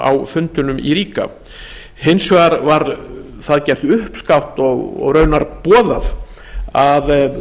á fundinum í ríga hins vegar var það gert uppskátt og raunar boðað að